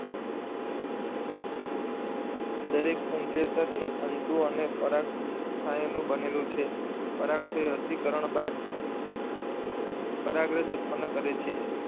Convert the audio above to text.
દરેક પુંકેસર એ તંતુ અને પરાગાશયનું બનેલું છે. પરાગાશય અર્ધીકરણ બાદ પરાગરજ ઉત્પન્ન કરે છે.